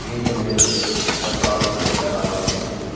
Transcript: డీజేని ని వేస్తే స్టెప్లు ఆటోమేటిక్ గా రావాల్సిందే.